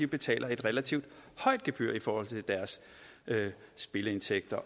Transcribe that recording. betaler et relativt højt gebyr i forhold til deres spilindtægter